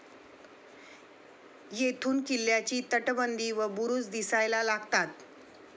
येथून किल्ल्याची तटबंदी व बुरुज दिसायला लागतात.